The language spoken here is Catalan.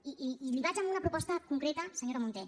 i li vaig a una proposta concreta senyora munté